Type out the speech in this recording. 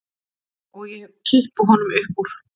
Og ég kippi honum upp úr.